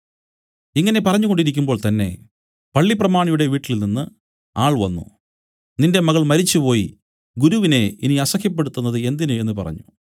ഇങ്ങനെ പറഞ്ഞുകൊണ്ടിരിക്കുമ്പോൾ തന്നേ പള്ളിപ്രമാണിയുടെ വീട്ടിൽനിന്നു ആൾ വന്നു നിന്റെ മകൾ മരിച്ചുപോയി ഗുരുവിനെ ഇനി അസഹ്യപ്പെടുത്തുന്നത് എന്തിന് എന്നു പറഞ്ഞു